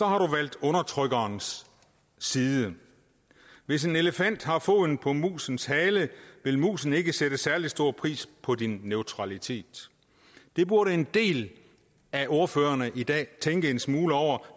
har du valgt undertrykkerens side hvis en elefant har foden på musens hale vil musen ikke sætte særlig stor pris på din neutralitet det burde en del af ordførerne i dag tænke en smule over